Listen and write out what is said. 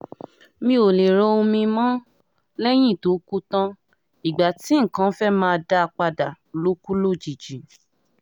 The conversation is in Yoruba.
mi ò lè ra omi-ín mọ́ lẹ́yìn tó kú tán ìgbà tí nǹkan fẹ́ẹ́ máa dáa padà ló kù lójijì